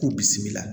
K'u bisimila